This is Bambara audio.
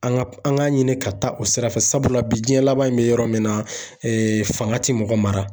An ka an ka ɲini ka taa o sira fɛ. Sabula bi jiɲɛ laban in be yɔrɔ min na , fanga ti mɔgɔ mara.